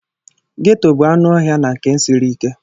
Ghetto bụ anụ ọhịa na nke siri ike.